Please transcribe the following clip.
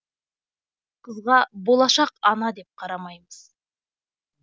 қызға болашақ ана деп қарамаймыз